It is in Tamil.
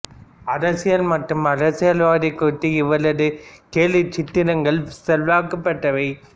அரசியல் மற்றும் அரசியல்வாதி குறித்த இவரது கேலிச்சித்திரங்கள் செல்வாக்கு பெற்றவை